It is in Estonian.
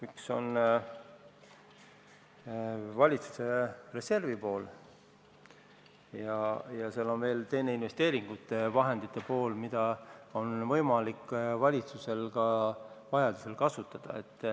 Üks on valitsuse reservi pool ja teine on investeeringusummade pool, mida on valitsusel võimalik ka vajadusel kasutada.